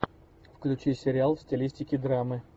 включи сериал в стилистике драмы